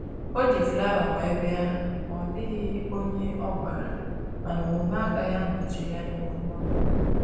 O ji flawa wee bịa ma ọ dịghị onye ọ gwara, mana omume agaghị anọchi anya okwu ọnụ